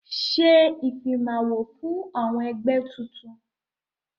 Ṣé ìfimawo fún ọmọ ẹgbẹ́ tuntun!